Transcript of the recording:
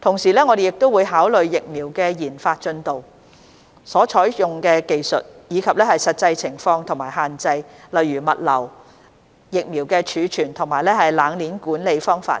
同時我們亦會考慮疫苗的研發進度、所採用的技術，以及實際情況和限制，例如物流、疫苗的儲存及冷鏈管理方法等。